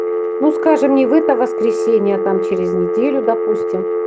ну скажем не в это воскресенье а там через неделю допустим